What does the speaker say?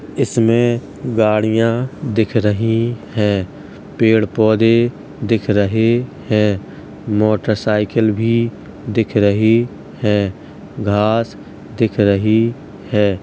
इस में गाड़ियाँ दिख रही हैं। पेड़ पौधे दिख रहे हैं। मोटर साइकिल भी दिख रही है। घांस दिख रही है।